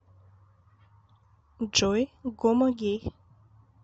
джой гомогей